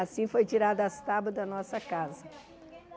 Assim foi tirada as tábuas da nossa casa.